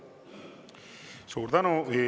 Suur tänu!